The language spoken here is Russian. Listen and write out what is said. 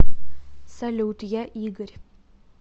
салют я игорь